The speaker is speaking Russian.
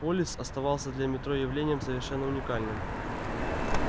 полис оставался для метро явлением совершенно уникальным